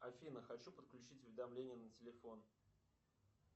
афина хочу подключить уведомления на телефон